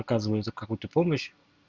оказывается какую-то помощь